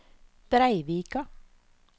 Breivika